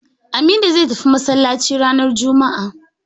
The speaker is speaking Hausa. Aminu zai tafi masallaci ranar juma'a